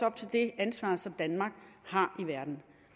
op til det ansvar som danmark har i verden